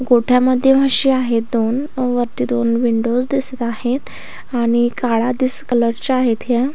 गोठ्यामध्ये म्हशी आहेत दोन अ वरती दोन विंडोज दिसत आहेत आणि काळा दिस कलर च्या आहेत ह्या.